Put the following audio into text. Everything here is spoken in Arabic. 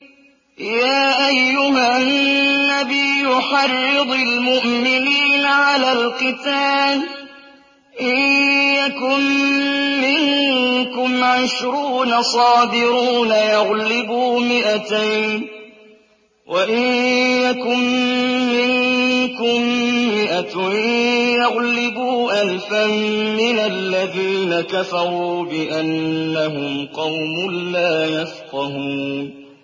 يَا أَيُّهَا النَّبِيُّ حَرِّضِ الْمُؤْمِنِينَ عَلَى الْقِتَالِ ۚ إِن يَكُن مِّنكُمْ عِشْرُونَ صَابِرُونَ يَغْلِبُوا مِائَتَيْنِ ۚ وَإِن يَكُن مِّنكُم مِّائَةٌ يَغْلِبُوا أَلْفًا مِّنَ الَّذِينَ كَفَرُوا بِأَنَّهُمْ قَوْمٌ لَّا يَفْقَهُونَ